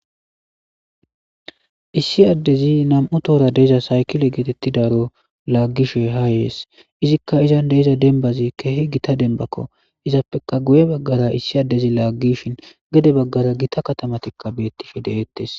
Issi addezi nam7u toora deza saykile geetetti daro laaggishe haayyees izikka izan deiza denbazi keehi gita denbakko izappeka guye baggara issi addezi laaggishin gede baggara gita katamatikka beettifi de7eettes.